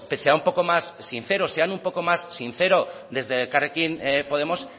sea un poco más sincero sean un poco más sincero desde elkarrekin podemos